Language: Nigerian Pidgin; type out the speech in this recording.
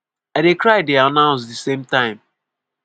“i dey cry dey announce di same time ”